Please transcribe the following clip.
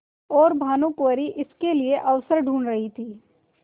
और भानुकुँवरि इसके लिए अवसर ढूँढ़ रही थी